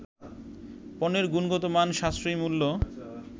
পণ্যের গুণগত মান, সাশ্রয়ী মূল্য